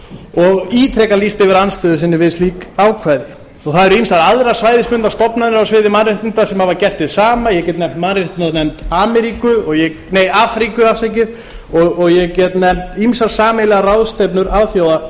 og ítrekað lýst yfir andstöðu sinni við slík ákvæði það eru ýmsar aðrar svæðisbundnar stofnanir á sviði mannréttinda sem hafa gert hið sama ég get nefnt mannréttindanefnd afríku og ég get nefnt ýmsar sameiginlegar ráðstefnur